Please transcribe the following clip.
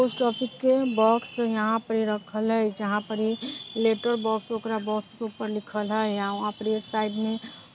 post office के box यहां पे रखल हय जहां पर इ लेटर बॉक्स ओकरा बॉक्स के ऊपर लिखल हय यहां वहाँ पर एक साइड में --